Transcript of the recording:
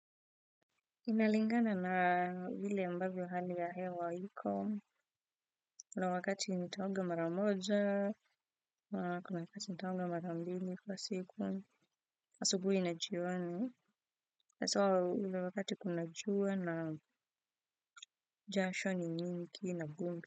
Inalingana na vile ambavyo hali ya hewa iko kuna wakati nitaoga mara moja, kuna wakati nitaoga mara mbili kwa siku, asubuhi na jioni, hasaa ule wakati kuna jua naam jasho ni nyingi na vumbi.